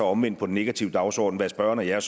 omvendt på den negative dagsorden hvad spørgeren og jeg